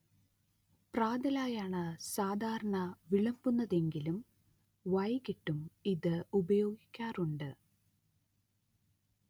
പ്രാതലായാണ് സാധാരണ വിളമ്പുന്നതെങ്കിലും വൈകീട്ടും ഇത് ഉപയോഗിക്കാറുണ്ട്